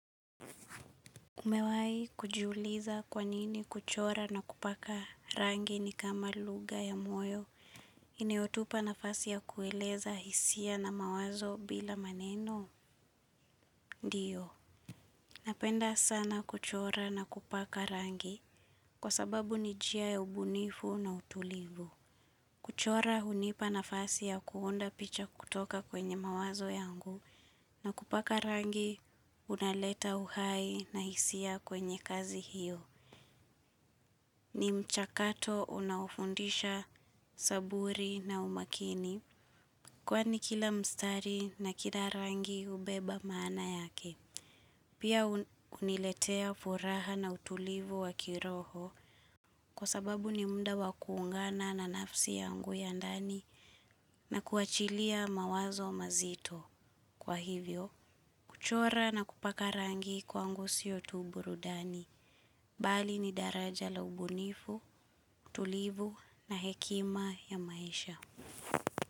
Umewai kujiuliza kwanini kuchora na kupaka rangi ni kama lugha ya moyo. Inao tupa nafasi ya kueleza hisia na mawazo bila maneno? Ndiyo. Napenda sana kuchora na kupaka rangi. Kwa sababu ni njia ya ubunifu na utulivu. Kuchora hunipa nafasi ya kuunda picha kutoka kwenye mawazo yangu. Na kupaka rangi unaleta uhai na hisia kwenye kazi hiyo. Ni mchakato unaofundisha saburi na umakini kwani kila mstari na kila rangi hubeba maana yake. Pia huniletea furaha na utulivu wa kiroho kwa sababu ni muda wakuungana na nafsi yangu ya ndani na kuachilia mawazo mazito. Kwa hivyo, kuchora na kupaka rangi kwangu siyo tu burudani. Bali ni daraja la ubunifu, tulivu na hekima ya maisha.